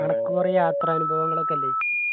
അനക്ക് കൊറേ യാത്രാനുഭവങ്ങളൊക്കെ ഇല്ലേ